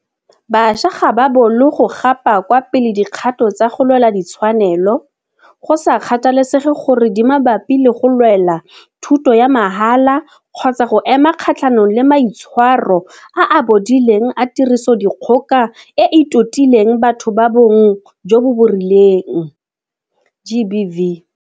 Bašwa ga ba bolo go gapa kwa pele dikgato tsa go lwela ditshwanelo, go sa kgathalesege gore di mabapi le go lwela thuto ya mahala kgotsa go ema kgatlhanong le maitshwaro a a bodileng a tirisodikgoka e e totileng batho ba bong jo bo rileng GBV.